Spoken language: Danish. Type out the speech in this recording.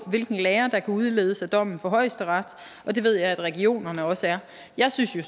hvilken lære der kan udledes af dommene fra højesteret og det ved jeg regionerne også er jeg synes jo